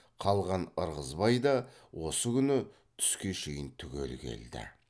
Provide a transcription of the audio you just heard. қалған ырғызбай да осы күні түске шейін түгел келді